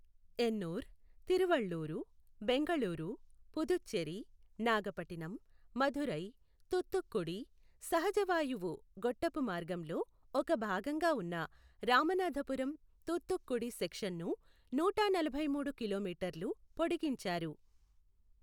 ఎన్నూర్ , తిరువళ్ళూరు , బెంగళూరు, పుదుచ్చేరి , నాగపట్టినం, మదురై, తూత్తుక్కుడి, సహజవాయువు గొట్టపు మార్గంలో ఒక భాగంగా ఉన్న రామనాథపురం తూత్తుక్కుడి సెక్షను నూట నలభై మూడు కిలోమీటర్లు పొడిగించారు.